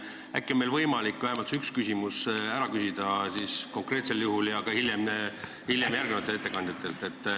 Äkki on meil võimalik vähemalt see üks küsimus ära küsida konkreetsel juhul ja ka hiljem järgmistelt ettekandjatelt.